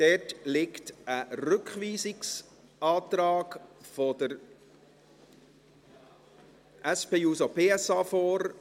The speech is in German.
Dazu liegt ein Rückweisungsantrag der SP-JUSO-PSA vor.